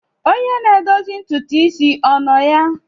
Onye na-edozi ntutu isi ọ nọ ya?